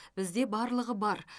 бізде барлығы бар